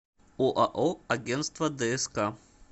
оао агентство дск